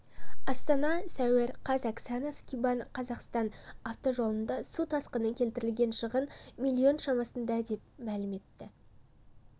астана сәуір қаз оксана скибан қазақстан автожолдарына су тасқыны келтірген шығын млн шамасында деп мәлім етті